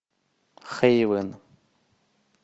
хейвен